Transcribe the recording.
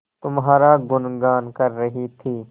तुम्हारा गुनगान कर रही थी